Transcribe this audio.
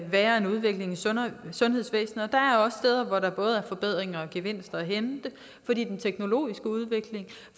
være en udvikling i sundhedsvæsenet og hvor der både er forbedringer og gevinster at hente fordi teknologien